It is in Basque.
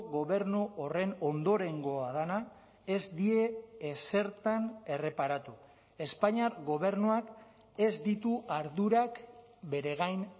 gobernu horren ondorengoa dena ez die ezertan erreparatu espainiar gobernuak ez ditu ardurak bere gain